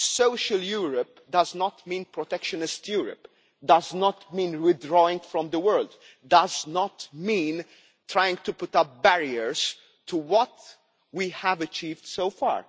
Social Europe does not mean protectionist Europe. It does not mean withdrawing from the world. It does not mean trying to put up barriers to what we have achieved so far.